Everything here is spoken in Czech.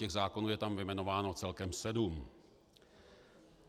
Těch zákonů je tam vyjmenováno celkem sedm.